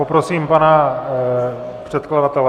Poprosím pana předkladatele.